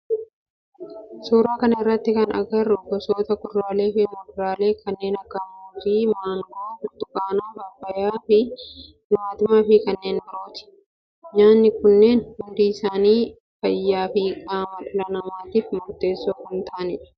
Suuraa kana irratti kan agarru gosoota kuduraalee fi muduraalee kanneen akka muuzii, maangoo, burtukaana, paappayyaa, timaatima fi kanneen birooti. Nyaatni kunnneen hundi isaanii fayyaa fi qaama dhala namaatif murteessoo kan ta'aanidha.